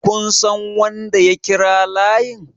kun San wanda ya kira layin?